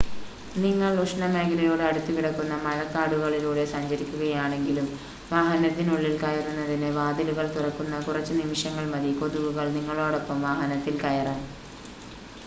നിങ്ങൾ ഉഷ്ണമേഖലയോട് അടുത്തുകിടക്കുന്ന മഴക്കാടുകളിലൂടെ സഞ്ചരിക്കുകയാണെങ്കിലും വാഹനത്തിനുള്ളിൽ കയറുന്നതിന് വാതിലുകൾ തുറക്കുന്ന കുറച്ച് നിമിഷങ്ങൾ മതി കൊതുകുകൾ നിങ്ങളോടൊപ്പം വാഹനത്തിൽ കയറാൻ